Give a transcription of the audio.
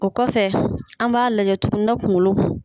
O kɔfɛ an b'a lajɛ tuguni na kungolo